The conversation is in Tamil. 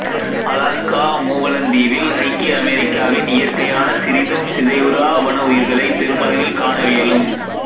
அலாஸ்கா மூவலந்தீவில் ஐக்கிய அமெரிக்காவின் இயற்கையான சிறிதும் சிதைவுறா வனவுயிர்களை பெருமளவில் காணவியலும்